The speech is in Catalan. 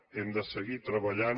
hem de seguir treballant